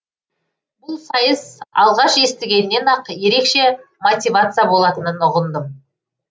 бұл сайыс алғаш естігеннен ақ ерекше мотивация болатынын ұғындым